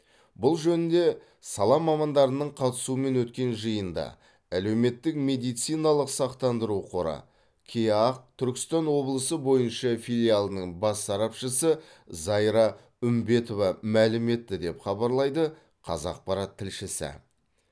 бұл жөнінде сала мамандарының қатысуымен өткен жиында әлеуметтік медициналық сақтандыру қоры кеақ түркістан облысы бойынша филиалының бас сарапшысы зайра үмбетова мәлім етті деп хабарлайды қазақпарат тілшісі